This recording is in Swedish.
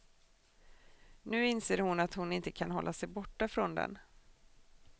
Nu inser hon att hon inte kan hålla sig borta från den.